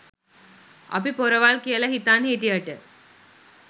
අපි පොරවල් කියල හිතන් හිටියට